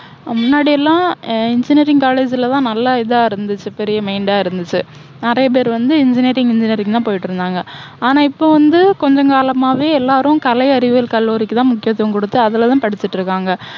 முன்னாடி எல்லாம் engineering college ல தான் நல்லா இதா இருந்துச்சு பெரிய இருந்துச்சு. நிறைய பேரு வந்து engineering engineering ன்னு தான் போயிட்டு இருந்தாங்க. ஆனால் இப்போ வந்து கொஞ்சம் காலமாவே எல்லாரும் கலை அறிவியல் கல்லூரிக்கு தான் முக்கியத்துவம் கொடுத்து அதுல தான் படிச்சிட்டு இருக்காங்க.